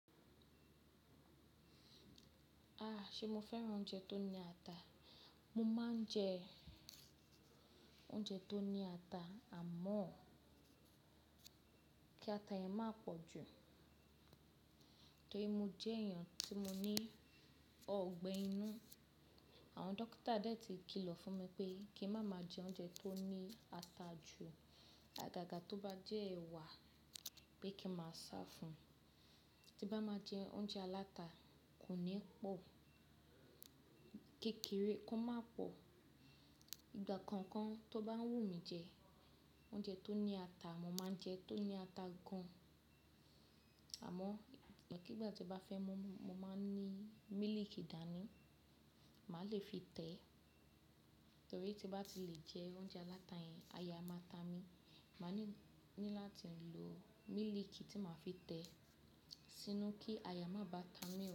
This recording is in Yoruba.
Ah! Ṣe mo fẹ́ràn oúnjẹ tó ní ata? Mo máa ń jẹ oúnjẹ tó ní ata, àmọ́ kí ata yẹn má pọ̀ jù. Torí mo jẹ́ èèyàn tí mo ní ọgbẹ́ inú. Àwọn dọ́kítà dà tí kìlọ̀ fún mi pé kí n má ma jẹ oúnjẹ tó ní ata jù. Àgàgà tó bá jẹ́ ẹwà pé kí máa sá fún un. Tí bá máa jẹ oúnjẹ aláta, kò ní pọ̀. Kékeré kó má pọ̀. Ìgbà kankan tó bá wù mí jẹ oúnjẹ tó ní ata, mo máa jẹ tó ní ata gan. Àmọ́, ìgbàkígbà tí ó bá fẹ́ mu, mo máa ní mílìkì dání, màá le fi tẹ́. Torí tí bá ti lè jẹ oúnjẹ aláta yẹn, aya a máa ta mi. Màá ní láti lo mílìkì tí màá fi tẹ́ sínú kí aya má bá ta mí.